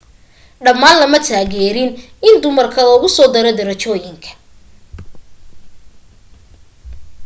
dhammaan lama taageeriin in dumarka lagu soo daro darajooyinka